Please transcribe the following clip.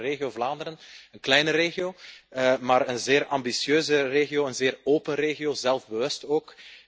Ik kom uit de regio Vlaanderen, een kleine regio maar een zeer ambitieuze regio, een zeer open regio, zelfbewust ook.